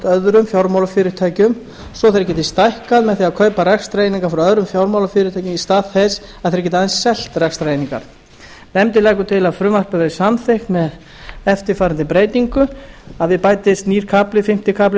öðrum fjármálafyrirtækjum svo að þeir geti stækkað með því að kaupa rekstrareiningar frá öðrum fjármálafyrirtækjum í stað þess að þeir geti aðeins selt rekstrareiningar nefndin leggur til að frumvarpið verði samþykkt með eftirfarandi breytingu að við bætist nýr kafli fimmti kafli lög